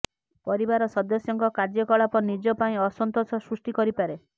ପରିବାର ସଦସ୍ୟଙ୍କ କାର୍ଯ୍ୟକଳାପ ନିଜ ପାଇଁ ଅସନ୍ତୋଷ ସୃଷ୍ଟି କରିପାରେ